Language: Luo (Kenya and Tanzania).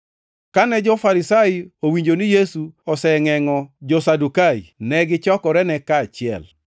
Kane jo-Farisai owinjo ni Yesu osengʼengʼo jo-Sadukai, ne gichokorene kaachiel.